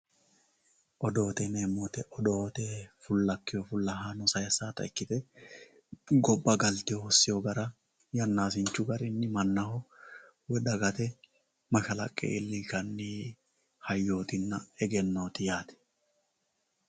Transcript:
Odoote yineemo woyite odoote fulakewo fulahanno sayisata ikkite goba galite hosewo gara yanasinchu garinni manaho woyi dagate mashalaqe iilli'nshanni hayootinna eggenotti yaate.